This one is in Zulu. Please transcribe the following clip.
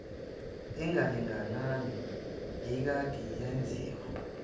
engalingani eyayikade yenziwe